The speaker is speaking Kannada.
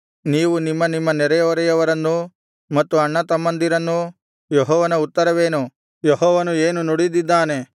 ನೀವು ನಿಮ್ಮ ನಿಮ್ಮ ನೆರೆಹೊರೆಯವರನ್ನೂ ಮತ್ತು ಅಣ್ಣತಮ್ಮಂದಿರನ್ನೂ ಯೆಹೋವನ ಉತ್ತರವೇನು ಯೆಹೋವನು ಏನು ನುಡಿದಿದ್ದಾನೆ